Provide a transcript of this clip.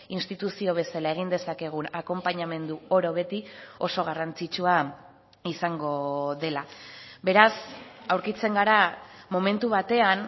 instituzio bezala egin dezakegun akonpainamendu oro beti oso garrantzitsua izango dela beraz aurkitzen gara momentu batean